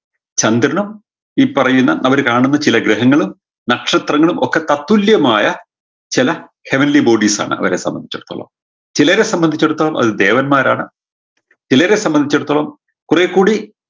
ചന്ദ്രനും ഈ പറയുന്ന അവര് കാണുന്ന ചില ഗ്രഹങ്ങളും നക്ഷത്രങ്ങളും ഒക്കെ തത്തുല്യമായ ചെല heavenly bodies ആണ് അവരെ സമ്പന്ധിച്ചിടത്തോളം ചിലരെ സമ്പന്ധിച്ചിടത്തോളം അത് ദേവന്മാരാണ് ചിലരെ സമ്പന്ധിച്ചിടത്തോളം കുറേക്കൂടി